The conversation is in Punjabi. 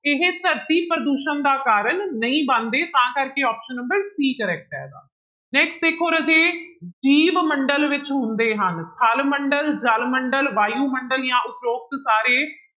ਇਹ ਧਰਤੀ ਪ੍ਰਦੂਸ਼ਣ ਦਾ ਕਾਰਨ ਨਹੀਂ ਬਣਦੇ ਤਾਂ ਕਰਕੇ option number c correct ਹੈਗਾ next ਦੇਖੋ ਰਾਜੇ ਜੀਵ ਮੰਡਲ ਵਿੱਚ ਹੁੰਦੇ ਹਨ ਥਲ ਮੰਡਲ, ਜਲ ਮੰਡਲ, ਵਾਯੂਮੰਡਲ ਜਾਂ ਉਪਰੋਕਤ ਸਾਰੇ।